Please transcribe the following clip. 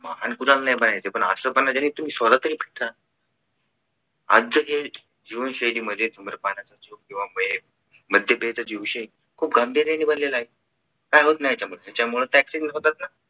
महान पणा नाही पाहिजे पण असं पण नाही जेथे तुम्ही सोडा तरी भटका आजच्या जे जीवनशैलीमध्ये धूम्रपान असो किंवा महे मध्य पियायचा जो विषय खूप गांभीर्यानं बनलेलं आहे काय होत नाही याच्यामुळे तर होतात ना